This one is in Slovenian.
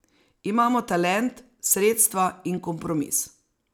Imamo talent, sredstva in kompromis.